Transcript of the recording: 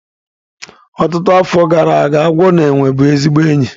Ọtụtụ afọ gara aga, agwọ na enwe bụ ezigbo enyi